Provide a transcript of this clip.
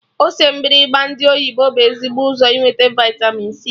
Ose mgbịrịgba ndị oyibo bụ ezigbo ụzọ inweta vịtamin c